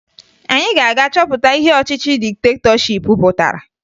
Anyị ga-aga chọpụta ihe ọchịchị diktetọship pụtara